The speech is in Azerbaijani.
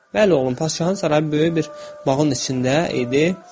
Bəli, oğlum, padşahın sarayı böyük bir bağın içində idi.